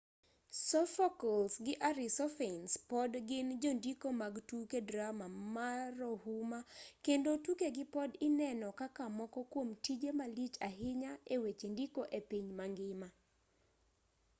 sophocles gi arisophanes pod gin jondiko mag tuke drama marohuma kendo tukegi pod ineno kaka moko kuom tije malich ahinya e weche ndiko e piny mangima